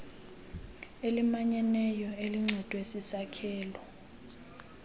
elimanyeneyo elincedwe sisakhelo